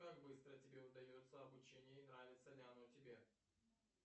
как быстро тебе удается обучение и нравится ли оно тебе